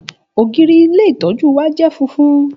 Ògiri ilé ìtọ́jú wa je funfun